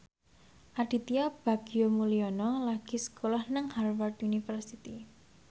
Aditya Bagja Mulyana lagi sekolah nang Harvard university